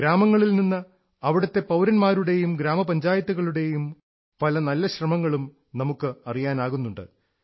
ഗ്രാമങ്ങളിൽ നിന്ന് അവിടത്തെ പൌരന്മാരുടെയും ഗ്രാമപഞ്ചായത്തുകളുടെയും പല നല്ല ശ്രമങ്ങളും നമുക്ക് അറിയാനാകുന്നുണ്ട്